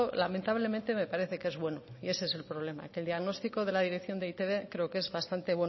lamentablemente me parece que es bueno y ese el problema que el diagnóstico de la dirección de eitb creo que es bastante